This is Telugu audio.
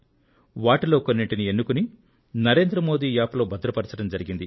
వాటిలో కొన్నింటిని ఎన్నుకుని NarendraModiApp లో భద్రపరచడం జరిగింది